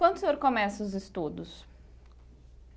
Quando o senhor começa os estudos?